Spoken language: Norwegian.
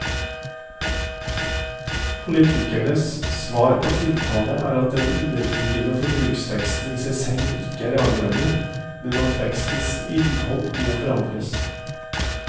Politikernes svar på tiltale er at den underliggende forbruksveksten i seg selv ikke er avgjørende, men at vekstens innhold må forandres.